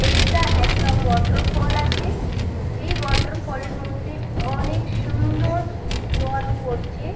এইটা একটা ওয়াটারফল আছে এই ওয়াটারফল -এর মধ্যে অনেক সুন্দর জল পড়ছে।